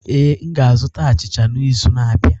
Ee, m ga-azụta achicha n'izu na-abịa.